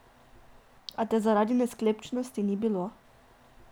A te zaradi nesklepčnosti ni bilo.